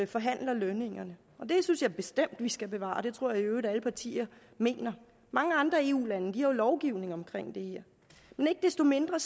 forhandler lønningerne og det synes jeg bestemt vi skal bevare og det tror jeg i øvrigt alle partier mener mange andre eu lande har jo lovgivning om det her men ikke desto mindre